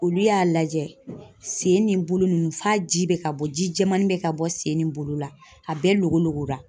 Olu y'a lajɛ sen ni bolo nunnu f'a ji be ka bɔ ji jɛmannin be ka bɔ sen ni bolo la, a bɛɛ loko loko la.